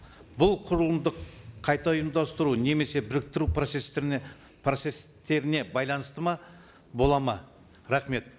бұл құрылымдық қайта ұйымдастыру немесе біріктіру процесстеріне процесстеріне байланысты ма болады ма рахмет